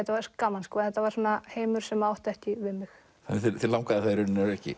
gaman en þetta var svona heimur sem átti ekki við mig þig langaði það í rauninni ekki